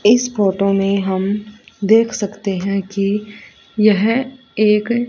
इस फोटो मे हम देख सकते है कि यह एक--